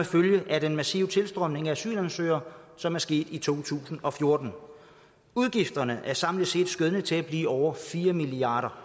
følge af den massive tilstrømning af asylansøgere som er sket i to tusind og fjorten udgifterne er samlet set skønnet til at blive over fire milliard